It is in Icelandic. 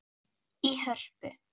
í Hörpu.